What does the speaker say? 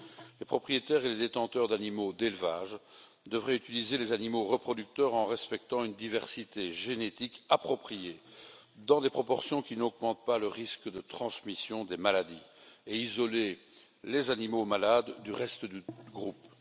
Les propriétaires et les détenteurs d'animaux d'élevage devraient utiliser les animaux reproducteurs en respectant une diversité génétique appropriée dans des proportions qui n'augmentent pas le risque de transmission des maladies et isoler les animaux malades du reste du groupe.